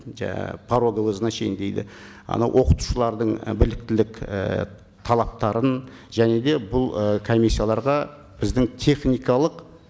жаңа пороговое значение дейді анау оқытушылардың і біліктілік і талаптарын және де бұл ы комиссияларға біздің техникалық